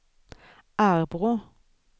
Arbrå